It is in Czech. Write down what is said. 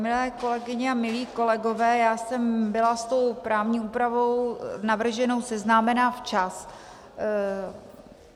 Milé kolegyně a milí kolegové, já jsem byla s tou právní úpravou navrženou seznámena včas.